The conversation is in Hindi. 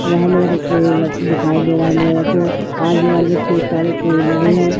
वहां मेरे को दिखाई दे रहा है मेरे को आजु बाजु खुब सारे पेड़ लगे है।